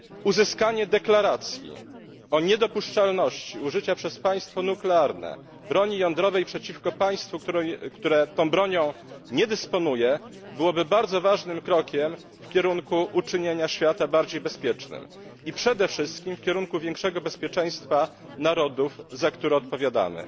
Uzyskanie deklaracji o niedopuszczalności użycia przez państwo nuklearne broni jądrowej przeciwko państwu, które tą bronią nie dysponuje, byłoby bardzo ważnym krokiem w kierunku uczynienia świata bardziej bezpiecznym i przede wszystkim w kierunku większego bezpieczeństwa narodów, za które odpowiadamy.